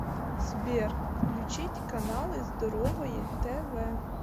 сбер включить каналы здоровое тв